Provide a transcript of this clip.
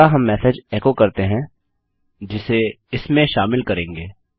अगला हम message echo करते हैं जिसे इसमें शामिल करेंगे